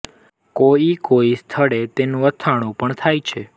કોઈ કોઈ સ્થળે તેનું અથાણું પણ થાય છે